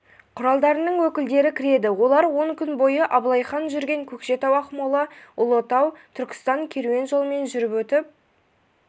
құралдарының өкілдері кіреді олар он күн бойы абылай хан жүрген көкшетау-ақмола-ұлытау-түркістан керуен жолымен жүріп өтіп